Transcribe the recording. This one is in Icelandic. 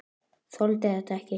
Þoldi þetta ekki!